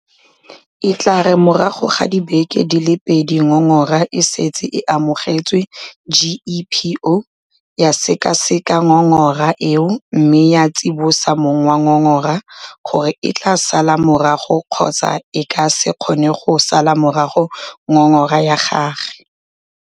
E tla re morago ga dibeke di le pedi ngongora e setse e amogetswe GEPO ya sekaseka ngongora eo mme ya tsibosa mong wa ngongora gore e tla sala morago kgotsa e ka se kgone go sala morago ngongora ya gagwe.